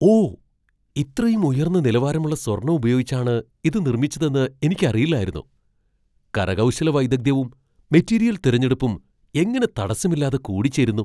ഓ, ഇത്രയും ഉയർന്ന നിലവാരമുള്ള സ്വർണ്ണം ഉപയോഗിച്ചാണ് ഇത് നിർമ്മിച്ചതെന്ന് എനിക്കറിയില്ലായിരുന്നു. കരകൗശല വൈദഗ്ധ്യവും മെറ്റീരിയൽ തിരഞ്ഞെടുപ്പും എങ്ങനെ തടസ്സമില്ലാതെ കൂടിച്ചേരുന്നു!